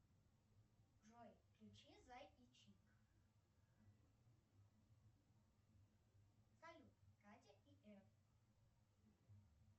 джой включи зай и чик салют катя и эф